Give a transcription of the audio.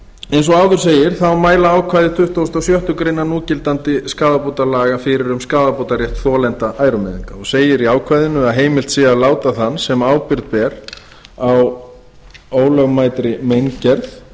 eins og áður segir mæla ákvæði tuttugasta og sjöttu grein núgildandi skaðabótalaga fyrir um skaðabótarétt þolenda ærumeiðinga segir í ákvæðinu að heimilt sé að láta þann sem ábyrgð ber á ólögmætri meingerð